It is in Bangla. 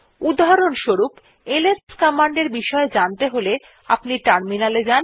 উদাহরণ স্বরূপ এলএস কমান্ড এর বিষয়ে জানতে হলে আপনি টার্মিনালে যান